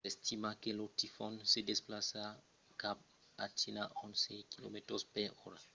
s’estima que lo tifon se desplaça cap a china a onze km/h